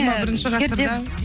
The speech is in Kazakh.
жиырма бірінші ғасырда